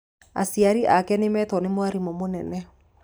Aciari ake nĩmetũo nĩ mwarimũ mũnene.